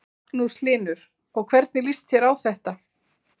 Magnús Hlynur: Og hvernig líst þér á þetta?